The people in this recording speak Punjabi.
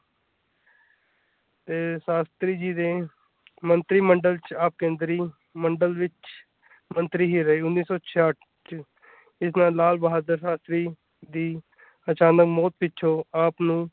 ਤੇ ਸ਼ਾਸਤਰੀ ਜੀ ਦੇ ਮੰਤਰੀ-ਮੰਡਲ ਚ ਆਪ ਕੇਂਦਰੀ ਮੰਡਲ ਵਿਚ ਮੰਤਰੀ ਹੀ ਰਹੇ ਉੱਨ੍ਹੀ ਸੌ ਛੇਹਾੱਟ ਚ ਜਿਸ ਨਾਲ ਲਾਲ ਬਹਾਦਰ ਸ਼ਾਸਤਰੀ ਦੀ ਅਚਾਨਕ ਮੌਤ ਪਿੱਛੋਂ ਆਪ ਨੂੰ।